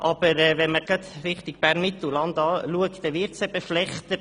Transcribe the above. Aber wenn man gerade Richtung Bern-Mittelland schaut, dann wird es eben schlechter.